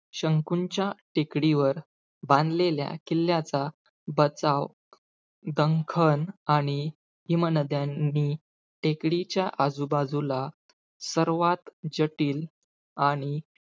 शंकूच्या टेकडीवर बांधलेल्या किल्ल्याचा, बचाव दंखन आणि हिमनद्यांनी आजूबाजूला सर्वात जटिल आणि,